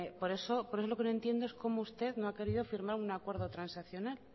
por eso lo que no entiendo es cómo usted no ha querido firmar un acuerdo transaccional